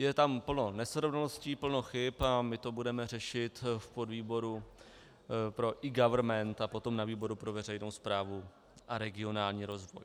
Je tam plno nesrovnalostí, plno chyb a my to budeme řešit v podvýboru pro eGovernment a potom na výboru pro veřejnou správu a regionální rozvoj.